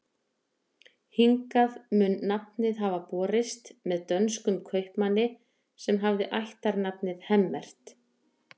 Hingað mun nafnið hafa borist með dönskum kaupmanni sem hafði ættarnafnið Hemmert.